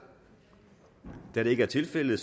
da det ikke er tilfældet